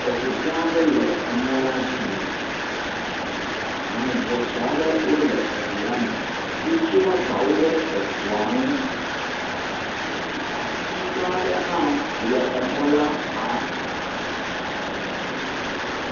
Eŋu gã aɖe le emɔ dzi yina ame gbɔsɔ aɖe wole eŋu la me yina, wotsi woƒe agbawo ɖe eŋua ŋu, ati gã aɖe le emɔa xa.